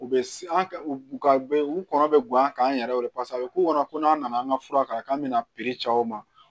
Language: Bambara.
U bɛ an ka u ka u kɔnɔ bɛ gan kan an yɛrɛw de paseke a bɛ k'u kɔnɔ ko n'an nana an ka fura kan k'an bɛna ci aw ma